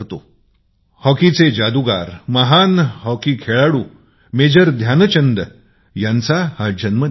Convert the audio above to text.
हा महान हॉकी खेळाडू आणि हॉकीचा जादुगार मेजर ध्यानचंदजीचा जन्म दिवस आहे